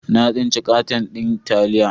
Na tsinci katan din taliya.